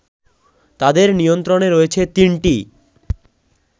তাদের নিয়ন্ত্রণে রয়েছে তিনটি